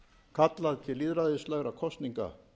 kallað til lýðræðislegra kosninga